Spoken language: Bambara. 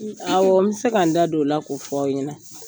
n mi se ka n da don o la, ko f'aw ɲɛna.